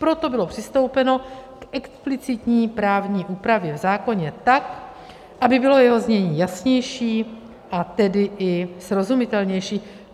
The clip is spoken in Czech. Proto bylo přistoupeno k explicitní právní úpravě v zákoně tak, aby bylo jeho znění jasnější, a tedy i srozumitelnější.